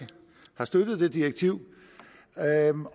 har støttet det direktiv